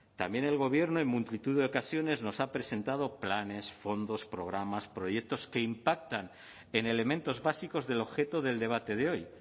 también el gobierno en multitud de ocasiones nos ha presentado planes fondos programas proyectos que impactan en elementos básicos del objeto del debate de hoy